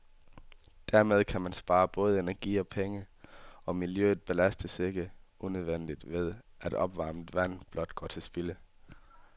Dermed kan man spare både energi og penge, og miljøet belastes ikke unødigt ved, at opvarmet vand blot går til spilde.